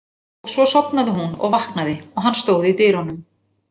Og svo sofnaði hún og vaknaði og hann stóð í dyrunum.